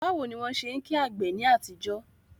Báwo ni wọ́n ṣe ń kí àgbè ní àtijọ́?